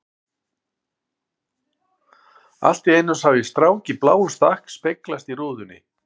Allt í einu sá ég strák í bláum stakk speglast í rúðunni.